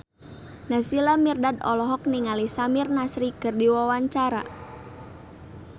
Naysila Mirdad olohok ningali Samir Nasri keur diwawancara